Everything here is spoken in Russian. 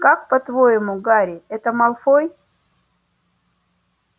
как по-твоему гарри это малфой